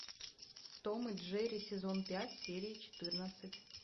том и джерри сезон пять серия четырнадцать